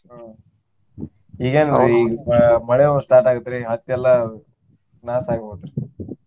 ಹ್ಮ್ ಈಗ ಆ ಮಳೆನು start ಆಗುತ್ರಿ ಹತ್ತಿ ಎಲ್ಲಾ loss ಆಗಿಹೋತ್ರಿ.